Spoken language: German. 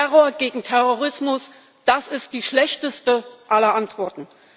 Terror gegen Terrorismus das ist die schlechteste aller Antworten.